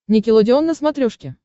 никелодеон на смотрешке